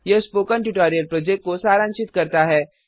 यह spoken tutorial project को सारांशित करता है